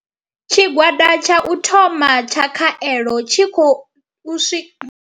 Tshigwada tsha u thoma tsha khaelo tshi khou swika.